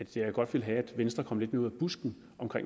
til at jeg godt ville have at venstre kom lidt mere ud af busken